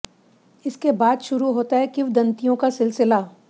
इसके बाद शुरू होता है किंवदंतियों का सिलसिला